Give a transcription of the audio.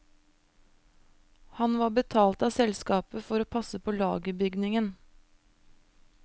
Han var betalt av selskapet for å passe på lagerbygningen.